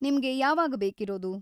ನಿಮ್ಗೆ ಯಾವಾಗ ಬೇಕಿರೋದು?